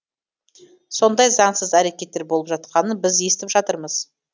сондай заңсыз әрекеттер болып жатқанын біз естіп жатырмыз